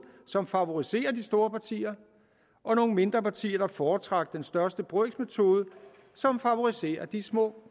som favoriserer de store partier og nogle mindre partier der foretrak den største brøks metode som favoriserer de små